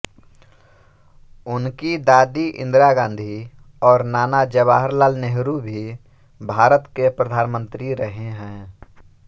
उनकी दादी इंदिरा गाँधी और नाना जवाहर लाल नेहरू भी भारत के प्रधानमंत्री रहे हैं